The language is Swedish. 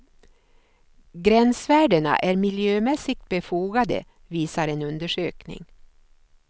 Gränsvärdena är miljömässigt befogade, visar en undersökning.